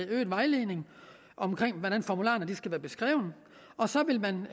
øget vejledning i hvordan formularerne skal være og så vil man